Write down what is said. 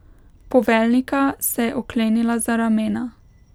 Poveljnika se je oklenila za ramena.